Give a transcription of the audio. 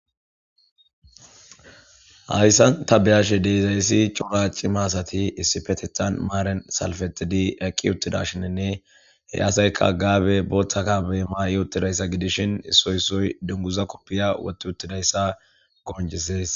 hayssan ta beyashe de'izayessi cora cima asati issifetethan maaren salfetidi eqqi uttida shinenne he asayka gaabe booththakabe maa7i uttidayssa gidishin issoysoy dunguza koppiya wotti uttidayssa gooncisees